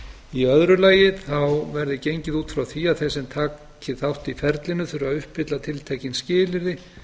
í öðru lagi verði gengið út frá því að þeir sem taki þátt í ferlinu þurfi að uppfylla tiltekin skilyrði